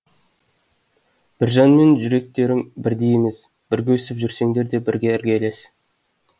біржанмен жүректерің бірдей емес бірге өсіп жүрсеңдер де бірге іргелес